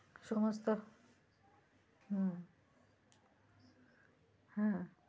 সমস্ত হম হম